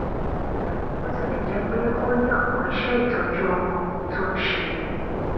bó tilè jé pé ó ní òpò iṣé ìtọjú ọmọ tó ń ṣe